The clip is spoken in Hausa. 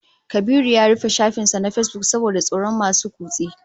Kabiru ya rufe shafin sa na Facebook saboda tsoron masu kutse